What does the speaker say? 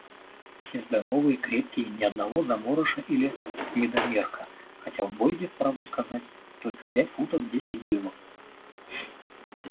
все здоровые крепкие ни одного заморыша или недомерка хотя в бойде правду сказать только пять футов десять дюймов